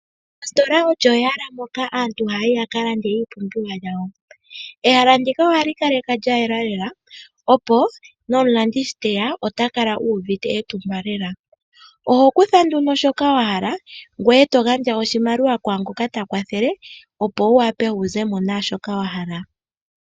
Ositola olyo ehala moka aantu haya yi ya ka lande iipumbiwa yawo. Ehala ndika ohali kalekwa lya yela lela, opo nomulandi shi te ya ota kala uuvite etumba lela. Oho kutha nduno shoka wa hala ngoye to gandja iimaliwa kaa ngoka ta kwathele, opo wu wape wu ze mo naa shoka wa hala.